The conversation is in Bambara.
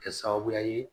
Kɛ sababuya ye